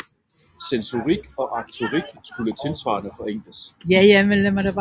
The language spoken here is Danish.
Sensorik og aktorik kunne tilsvarende forenkles